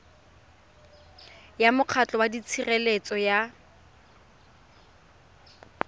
ya mokgatlho wa tshireletso ya